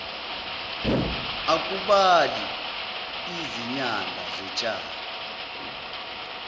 akubali izinyanda zotshani